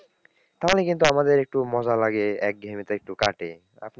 তাহলে কিন্তু আমাদের একটু মজা লাগে একঘেয়েমীটা একটু কাটে, আপনি,